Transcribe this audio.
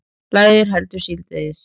Lægir heldur síðdegis